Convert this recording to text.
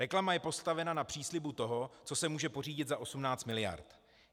Reklama je postavena na příslibu toho, co se může pořídit za 18 miliard.